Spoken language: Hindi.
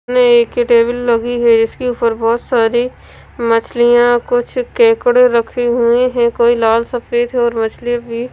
में एक टेबल लगी है इसके ऊपर बहुत सारी मछलियां कुछ केकड़े रखे हुए हैं कोई लाल सफेद और मछली भी--